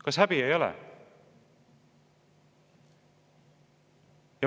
Kas sul häbi ei ole?